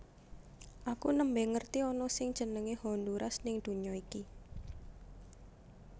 Aku nembe ngerti ana sing jenenge Honduras ning dunya iki